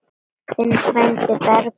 Þinn frændi Bergur.